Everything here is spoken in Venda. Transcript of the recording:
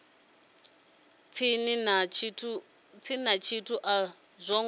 si na tshithu a zwo